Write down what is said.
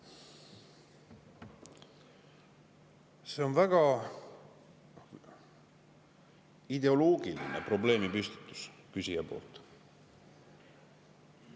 See on väga ideoloogiline probleemipüstitus küsija poolt.